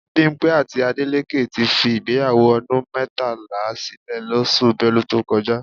Bímpé àti Adélékè ti fi ìgbéyàwó ọdún mẹ́tàlá sílè lóṣù Belu tó kọjá